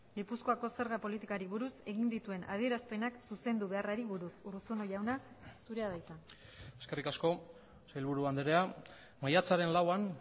gipuzkoako zerga politikari buruz egin dituen adierazpenak zuzendu beharrari buruz urruzuno jauna zurea da hitza eskerrik asko sailburu andrea maiatzaren lauan